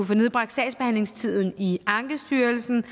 få nedbragt sagsbehandlingstiden i ankestyrelsen